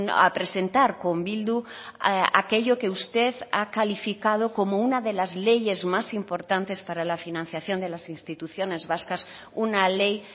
a presentar con bildu aquello que usted ha calificado como una de las leyes más importantes para la financiación de las instituciones vascas una ley